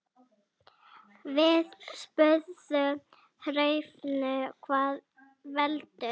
Við spurðum Hrefnu hvað veldur.